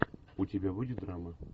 у тебя будет драма